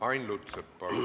Ain Lutsepp, palun!